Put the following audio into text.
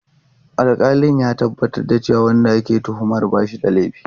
Alƙalin ya tabbatar da cewa wanda ake tuhumar ba shi da laifi.